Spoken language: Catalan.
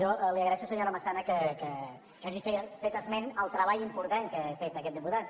jo li agraeixo senyora massana que hagi fet esment del treball important que ha fet aquest diputat